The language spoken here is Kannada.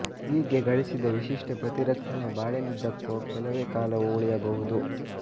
ಹೀಗೆ ಗಳಿಸಿದ ವಿಶಿಷ್ಟ ಪ್ರತಿರಕ್ಷಣೆ ಬಾಳಿನುದ್ದಕ್ಕೋ ಕೆಲವೇ ಕಾಲವೋ ಉಳಿಯಬಹುದು